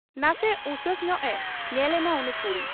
ᱱᱟᱥᱮ ᱩᱥᱟᱹᱥ ᱧᱚᱜ ᱮ ᱧᱮᱞ ᱮᱱᱟ ᱩᱱᱤ ᱠᱩᱲᱤ ᱾